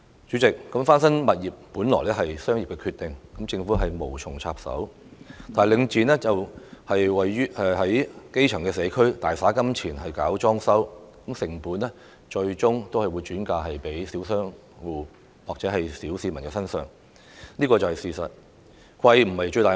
主席，翻新物業本屬商業決定，政府無從插手，唯領展在基層社區大灑金錢搞裝修，最終把成本轉嫁小商戶和小市民身上，這是事實。